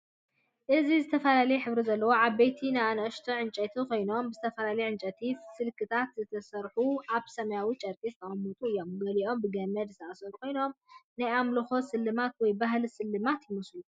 እዚ ዝተፈላለየ ሕብሪ ዘለዎም ዓበይቲን ንኣሽቱ ዕንጨይቲ ኮይኖም፡ ብዝተፈላለየ ዕንጨይቲ ስልክታት ዝተሰርሑን ኣብ ሰማያዊ ጨርቂ ዝተቀመጡን እዮም። ገሊኦም ብገመድ ዝተኣስሩ ኮይኖም ናይ ኣምላኽ ስልማት ወይ ባህላዊ ስልማት ይመስሉ።